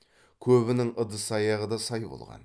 көбінің ыдыс аяғы да сай болған